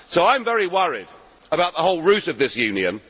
So I am very worried about the whole root of this